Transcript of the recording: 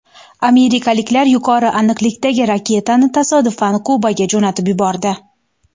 Amerikaliklar yuqori aniqlikdagi raketani tasodifan Kubaga jo‘natib yubordi.